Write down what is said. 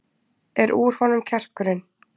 Er úr honum kjarkurinn?